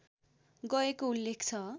गएको उल्लेख छ